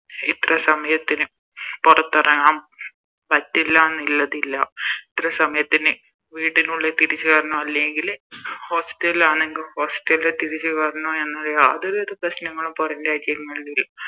ഇത്ര സമയത്തിന് പൊറത്തെറങ്ങാൻ പറ്റില്ലാന്ന് ഇല്ലാതില്ല ഇത്ര സമയത്തിന് വീടിനുള്ളിൽ തിരിച്ച് കേറണം അല്ലെങ്കില് Hostel ആന്നെങ്കില് Hostel തിരിച്ച് കേറണം എന്ന യാതൊരു വിധ പ്രശ്നങ്ങളും പോറം രാജ്യങ്ങളി